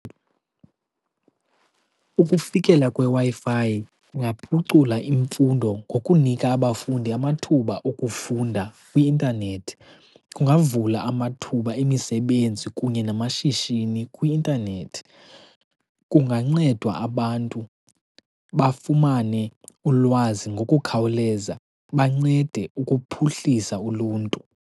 Ukufikela kweWi-Fi kungaphucula imfundo ngokunika abafundi amathuba okufunda kwi-intanethi, kungavula amathuba emisebenzi kunye namashishini kwi-intanethi. Kungancedwa abantu bafumane ulwazi ngokukhawuleza bancede ukuphuhlisa uluntu.